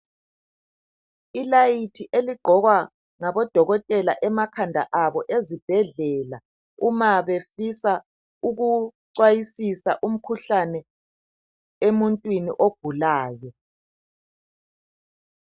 Sikhona isibani esigqokwa ngabodokotela emakhanda abo ezibhedlela uma bedingisisa imikhuhlane ezigulaneni.